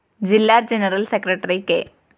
ജില്ലാ general secretary K